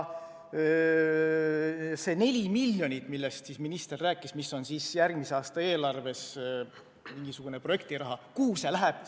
See 4 miljonit, millest minister rääkis ja mis on järgmise aasta eelarves projektirahana ette nähtud – kuhu see läheb?